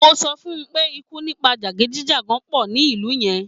Mo sọ fun pé ikú nípa jàgídíjàgan pọ̀ ní ìlú yẹn.